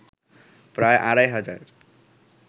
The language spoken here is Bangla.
প্রায় আড়াই হাজার